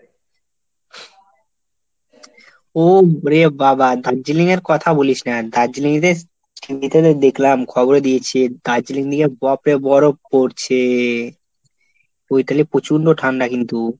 ও ওরে বাবা দার্জিলিং এর কথা বলিস না। দার্জিলিংয়েতে TV তে তো দেখলাম খবরে দিয়েছে দার্জিলিংয়েতে বাপরে বরফ পড়ছে. ওইখানে প্রচন্ড ঠান্ডা কিন্তু।